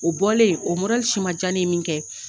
O bɔlen, o modɛli si ma dia ne ye min kɛ.